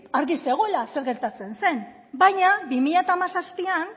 argi zegoela zer gertatzen zen baina bi mila hamazazpian